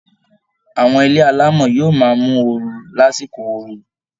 Àwọn ilé alámọ̀ yóò máa mú ooru lásìkò ooru